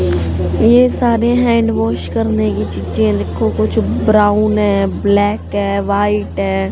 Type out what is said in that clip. ये सारे hand wash करने की चीजें हैं देखो कुछ ब्राउन है ब्लैक है व्हाइट है।